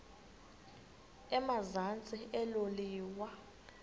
emazantsi elo liwa